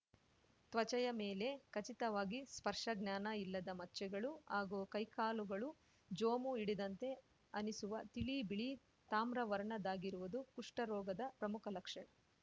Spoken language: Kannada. ತ್ವಚೆಯ ಮೇಲೆ ಖಚಿತವಾಗಿ ಸ್ಪರ್ಶಜ್ಞಾನ ಇಲ್ಲದ ಮಚ್ಚೆಗಳು ಹಾಗೂ ಕೈ ಕಾಲುಗಳು ಜೋಮು ಹಿಡಿದಂತೆ ಅನಿಸುವ ತಿಳಿಬಿಳಿ ತಾಮ್ರ ವರ್ಣದಾಗಿರುವುದು ಕುಷ್ಠರೋಗದ ಪ್ರಮುಖ ಲಕ್ಷಣ